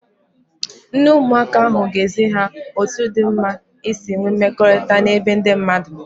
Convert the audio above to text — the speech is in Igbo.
Nne ụmụaka ahụ ga-ezi ha otu dị mma isi nwee mmekọrịta n'ebe ndị mmadụ